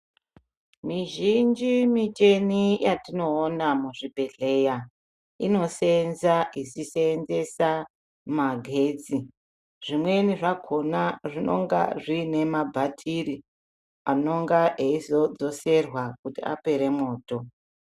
Mizhinji miteni yatinoona muzvibhedhleya inoseyenza ichiseenzesa magetsi zvimweni zvakona zvinenga zviine mabatiri anenge eizodzoserwa kuti apera mwoto